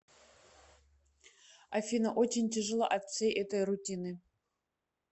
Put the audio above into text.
афина очень тяжело от всей этой рутины